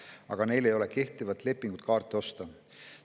Aga neil ei ole kehtivat lepingut, et kaarte osta.